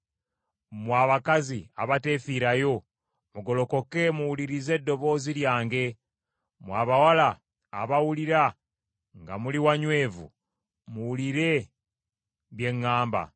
Mmwe abakazi abateefiirayo, mugolokoke muwulirize eddoboozi lyange; mmwe abawala abawulira nga muli wanywevu, muwulire bye ŋŋamba.